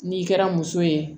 N'i kɛra muso ye